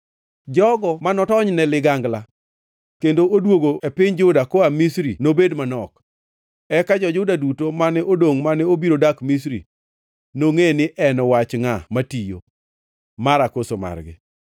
Jogo mane otonyne ligangla kendo odwogo e piny Juda koa Misri nobed manok. Eka jo-Juda duto mane odongʼ mane obiro dak Misri nongʼe ni en wach ngʼa matiyo, mara koso margi.